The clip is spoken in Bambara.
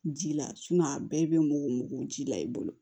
Ji la a bɛɛ bɛ mugu mugu ji la i bolo